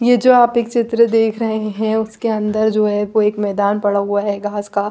ये जो आप एक चित्र देख रहे है इसके अंदर जो है एक मैदान पड़ा हुआ है घास का--